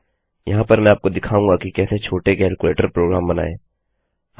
यहाँ पर मैं आपको दिखाऊँगा कि कैसे छोटे कैलकुलेटर प्रोग्राम बनाएँ